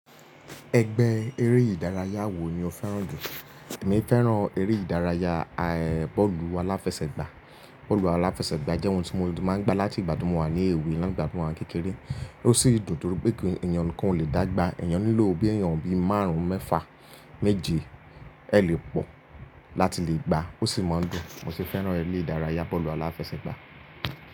Ẹgbẹ́ eré ìdárayá wo ni o fẹ́ràn jù? Èmi fẹ́ràn eré ìdárayá bọ́ọ̀lù aláfẹsẹ̀gbá. Bọ́ọ̀lù aláfẹsẹ̀gbá jẹ́ ohun tí mo ti máa ń gbá láti ìgbà tí mo wà ní èwe lá'gbà tí mo wà ní kékeré. Ó sì dùn torí pé kí ẹ̀yàn kan o le dàgbà, ẹ̀yàn nílò bí ẹ̀yàn bi márùn-ún mẹ́fà méje ẹ le pọ̀ láti le gbá. Ó sì máa ń dùn, mo sì fẹ́ràn eré ìdárayá bọ́ọ̀lù aláfẹsẹ̀gbá.